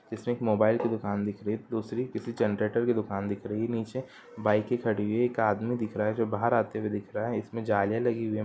इसमें एक मोबाइल की दुकान दिख रही है दूसरी जनरेटर की दूकान दिख रही है| निचे बाइके खडी हुई है| एक आदमी दिख रहा है जो बहार आते हुए दिख रहा है| इसमें जालियां लगी हुई है।